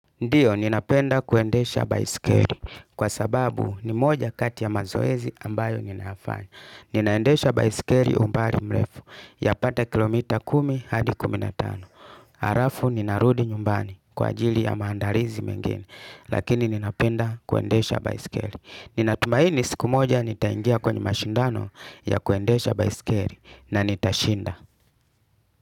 Ndio ninapenda kuendesha baiskeri kwa sababu ni moja kati ya mazoezi ambayo ninayafanya Ninaendesha baisikeri umbali mrefu yapata kilomita kumi hadi kumi na tano Arafu ninarudi nyumbani kwa ajili ya maandarizi mengine lakini ninapenda kuendesha baiskeri Ninatumaini siku moja nitaingia kwenye mashindano ya kuendesha baiskeri na nitashinda.